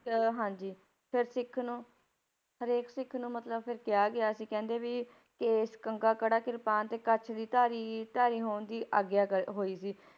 ਅਹ ਹਾਂਜੀ ਫਿਰ ਸਿੱਖ ਨੂੰ ਹਰੇਕ ਸਿੱਖ ਨੂੰ ਮਤਲਬ ਫਿਰ ਕਿਹਾ ਗਿਆ ਸੀ ਕਹਿੰਦੇ ਵੀ ਕੇਸ, ਕੰਘਾ, ਕੜਾ, ਕਿਰਪਾਨ ਤੇ ਕੱਛ ਦੀ ਧਾਰੀ ਧਾਰੀ ਹੋਣ ਦੀ ਆਗਿਆ ਕਰ ਹੋਈ ਸੀ,